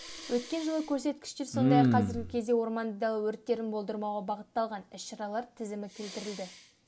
өткен жылғы көрсеткіштер сондай-ақ қазіргі кезде орманды дала өрттерін болдырмауға бағытталған іс-шаралар тізімі келтірілді